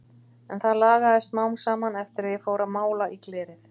En það lagaðist smám saman eftir að ég fór að mála í glerið.